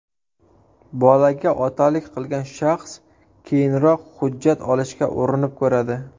Bolaga otalik qilgan shaxs keyinroq hujjat olishga urinib ko‘radi.